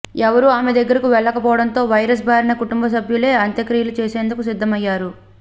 ఎవరూ ఆమె దగ్గరికి వెళ్లకపోవడంతో వైరస్ బారిన కుటుంబ సభ్యులే అంత్యక్రియలు చేసేందుకు సిద్ధమయ్యారు